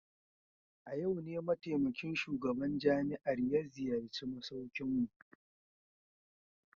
A yau ne mataimakin shugaban jami'ar ya ziyarci masaukinmu.